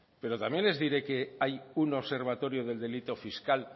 pero también les diré que hay un observatorio del delito fiscal